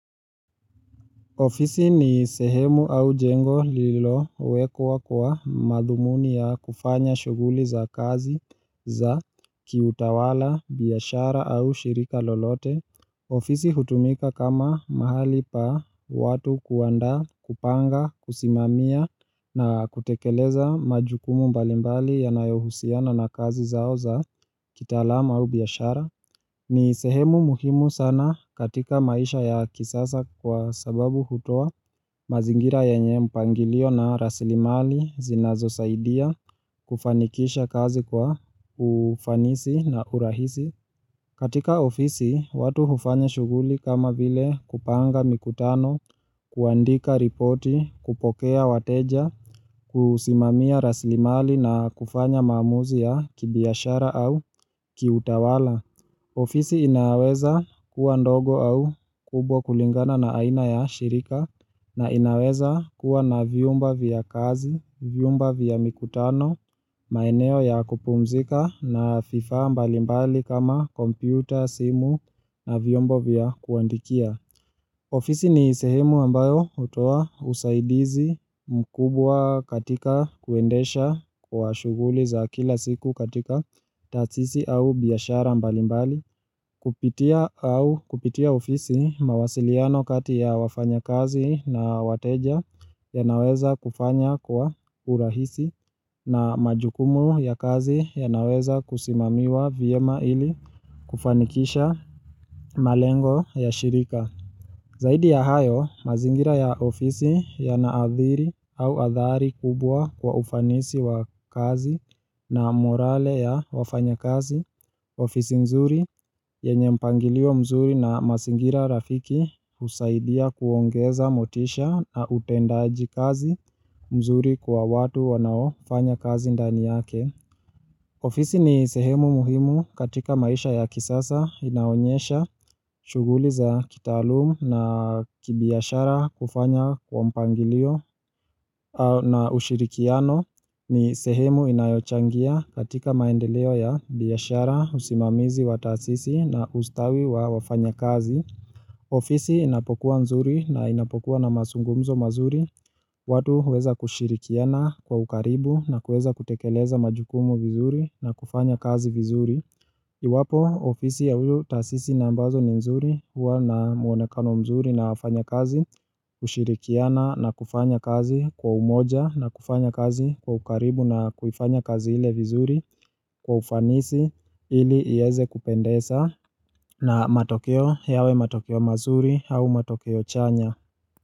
Ofisi ni sehemu au jengo lililowekwa kwa madhumuni ya kufanya shughuli za kazi za kiutawala, biashara au shirika lolote. Ofisi hutumika kama mahali pa watu kuandaa kupanga, kusimamia na kutekeleza majukumu mbalimbali yanayohusiana na kazi zao za kitaalama au biashara. Ni sehemu muhimu sana katika maisha ya kisasa kwa sababu hutoa mazingira yenye mpangilio na rasilimali zinazosaidia kufanikisha kazi kwa ufanisi na urahisi. Katika ofisi, watu hufanya shughuli kama vile kupanga mikutano, kuandika ripoti, kupokea wateja, kusimamia rasilimali na kufanya maamuzi ya kibiashara au kiutawala. Ofisi inaweza kuwa ndogo au kubwa kulingana na aina ya shirika na inaweza kuwa na vyumba vya kazi, vyumba vya mikutano, maeneo ya kupumzika na vifaa mbalimbali kama kompyuta, simu na vyombo vya kuandikia. Ofisi ni sehemu ambayo hutoa usaidizi mkubwa katika kuendesha kwa shughuli za kila siku katika taasisi au biashara mbali mbali. Kupitia ofisi mawasiliano kati ya wafanyakazi na wateja yanaweza kufanya kwa urahisi na majukumu ya kazi yanaweza kusimamiwa vyema ili kufanikisha malengo ya shirika. Zaidi ya hayo, mazingira ya ofisi yanaadhiri au adhari kubwa kwa ufanisi wa kazi na morale ya wafanyakazi, ofisi nzuri yenye mpangilio mzuri na mazingira rafiki husaidia kuongeza motisha na utendaji kazi mzuri kwa watu wanao fanya kazi ndani yake. Ofisi ni sehemu muhimu katika maisha ya kisasa inaonyesha shughuli za kitaalum na kibiashara kufanya kwa mpangilio na ushirikiano ni sehemu inayochangia katika maendeleo ya biashara usimamizi wa taasisi na ustawi wa wafanya kazi. Ofisi inapokuwa nzuri na inapokuwa na mazungumzo mazuri watu huweza kushirikiana kwa ukaribu na kuweza kutekeleza majukumu vizuri na kufanya kazi vizuri Iwapo ofisi ya huyu taasisi na ambazo ni nzuri huwa na muonekano mzuri na wafanya kazi kushirikiana na kufanya kazi kwa umoja na kufanya kazi kwa ukaribu na kuifanya kazi ile vizuri Kwa ufanisi ili ieze kupendeza na matokeo yawe matokeo mazuri au matokeo chanya.